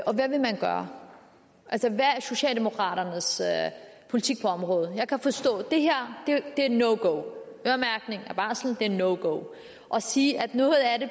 og hvad vil man gøre altså hvad er socialdemokraternes politik på området jeg kan forstå at det her er no go at øremærkning af barsel er no go og at sige at noget af det